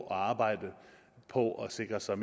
at arbejde på at sikre sig